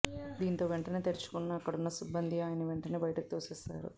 దీంతో వెంటనే తేరుకున్న అక్కడున్న సిబ్బంది ఆయన్ని వెంటనే బయటకు తోసేశారు